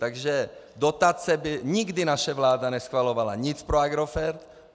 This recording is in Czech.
Takže dotace by nikdy naše vláda neschvalovala, nic pro Agrofert.